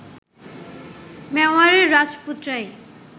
মেওয়ারের রাজপুতরাই